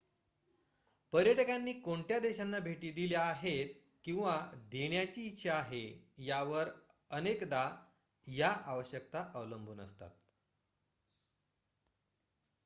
पर्यटकांनी कोणत्या देशांना भेटी दिल्या आहेत किंवा देण्याची इच्छा आहे त्यावर अनेकदा या आवश्यकता अवलंबून असतात